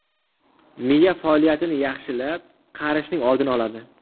Miya faoliyatini yaxshilab, qarishning oldini oladi.